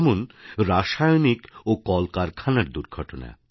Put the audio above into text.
যেমন রাসায়নিক ও কল কারখানার দুর্ঘটনা